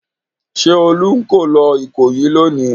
Ṣé Olú ń kó lọ Ìkòyí lónìí?